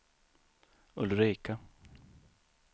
Ulrika